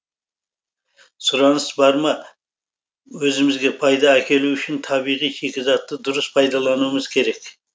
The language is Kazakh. сұраныс бар ма өзімізге пайда әкелу үшін табиғи шикізатты дұрыс пайдалануымыз керек